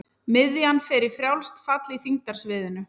Miðjan fer í frjálst fall í þyngdarsviðinu.